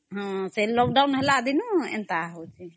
ସେ lockdown ହେଲା ଦିନୁ ଏନ୍ତା ହଉଚି